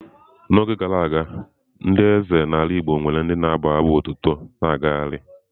N'oge gara aga ndị eze anyị n'ala igbo nwere ndị na-abụ abụ otuto na-abụ abụ otuto ha na-agagharị.